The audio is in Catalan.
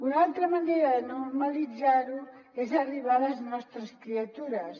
una altra manera de normalitzar ho és arribar a les nostres criatures